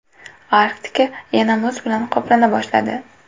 Arktika yana muz bilan qoplana boshladi.